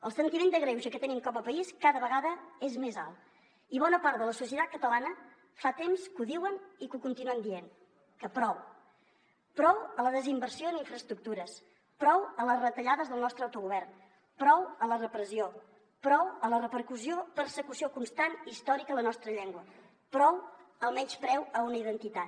el sentiment de greuge que tenim com a país cada vegada és més alt i bona part de la societat catalana fa temps que ho diuen i que continuem dient que prou prou a la desinversió en infraestructures prou a les retallades del nostre autogovern prou a la repressió prou a la persecució constant històrica a la nostra llengua prou al menyspreu a una identitat